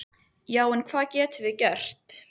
Já en hvað getum við gert?